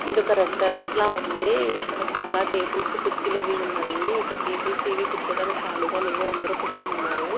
ఇది ఒక రెస్టారెంట్ లా ఉంది ఇక్కడ చాలా టేబుల్స్ కుర్చీలు అవి ఉన్నాయి ఇక్కడ టేబుల్స్ ఏవీ కూర్చోడానికి కాలిగా లేవు అందరూ కూర్చొనున్నారు.